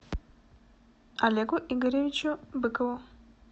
олегу игоревичу быкову